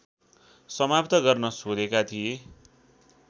समाप्त गर्न सोधेका थिए